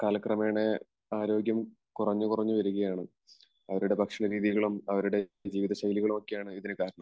കാലക്രമേണ ആരോഗ്യം കുറഞ്ഞു കുറഞ്ഞു വരികയാണ്. അവരുടെ ഭക്ഷണ രീതികളും അവരുടെ ജീവിതശൈലികളും ഒക്കെയാണ് ഇതിനു കാരണം.